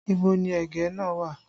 Ibo ni ẹ̀gẹ́ náà wà?